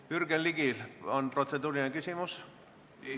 Kas Jürgen Ligil on protseduuriline küsimus?